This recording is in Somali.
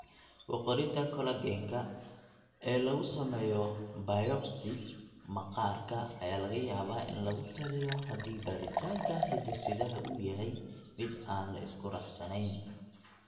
Ku qorida collagen-ka ee lagu sameeyo biopsy maqaarka ayaa laga yaabaa in lagu taliyo haddii baaritaanka hidde-sidaha uu yahay mid aan la isku raacsanayn.